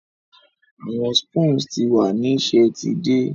Awọn spoons ti wa ni ṣe ti idẹ